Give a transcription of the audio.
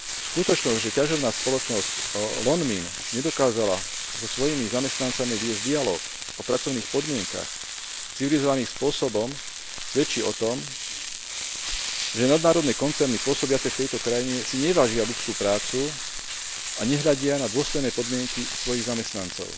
Skutočnosť, že ťažobná spoločnosť Lonmin nedokázala so svojimi zamestnancami viesť dialóg o pracovných podmienkach civilizovaným spôsobom, svedčí o tom, že nadnárodné koncerny pôsobiace v tejto krajine si nevážia ľudskú prácu a nehľadia na dôstojné podmienky svojich zamestnancov.